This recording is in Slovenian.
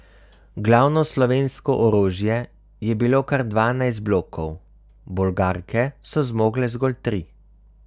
Glavno slovensko orožje je bilo kar dvanajst blokov, Bolgarke so zmogle zgolj tri.